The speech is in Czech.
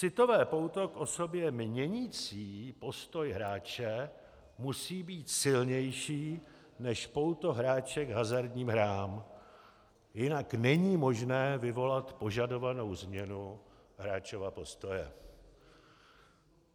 Citové pouto k osobě měnící postoj hráče musí být silnější než pouto hráče k hazardním hrám, jinak není možné vyvolat požadovanou změnu hráčova postoje.